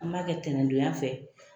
An b'a kɛ ntɛnɛn don ya fɛ